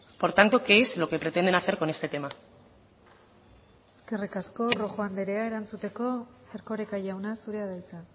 por tanto qué es lo que pretenden hacer con este tema eskerrik asko rojo andrea erantzuteko erkoreka jauna zurea da hitza